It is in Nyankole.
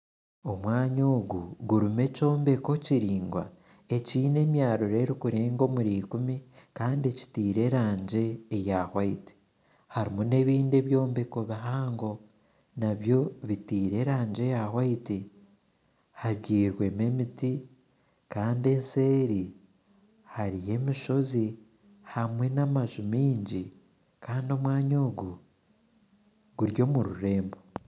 Omwanya ogu gurumu ekyombeko kiringwa ekine emyarro erukurenga omuri ikumi Kandi kitire erangi ya white harumu n'ebindi ebyombeko bihango nabyo bitirwe erangi eya white. Habyirwemu emiti Kandi nseeri hariyo emishozi hamwe n'amaju mingi kandi omwanya ogu guri omururembo.